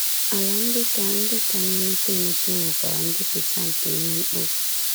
Ala ndị ka ndị ka na-emepe emepe nwekwara njupụta nke ihe mkpofu.